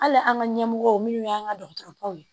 Hali an ka ɲɛmɔgɔw minnu y'an ka dɔgɔtɔrɔw ye